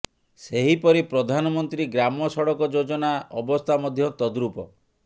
ସେହିପରି ପ୍ରଧାନମନ୍ତ୍ରୀ ଗ୍ରାମ ସଡ଼କ ଯୋଜନା ଅବସ୍ଥା ମଧ୍ୟ ତଦ୍ରୁପ